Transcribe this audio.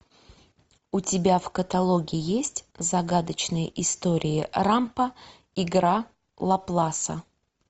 у тебя в каталоге есть загадочные истории рампо игра лапласа